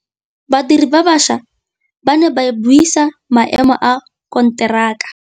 Badiri ba baša ba ne ba buisa maêmô a konteraka.